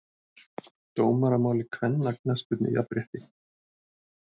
Dómaramál í kvennaknattspyrnu- jafnrétti?!